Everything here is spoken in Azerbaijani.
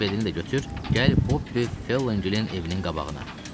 Velosipedini də götür, gəl Bobbi Felləngerin evinin qabağına.